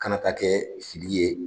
Kana taa kɛ fili ye